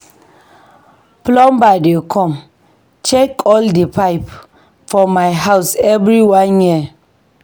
Plumber dey come check all di pipe for my house every one year.